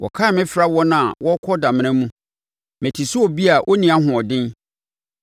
Wɔkan me fra wɔn a wɔrekɔ damena mu; mete sɛ obi a ɔnni ahoɔden.